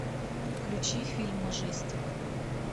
включи фильм мажестик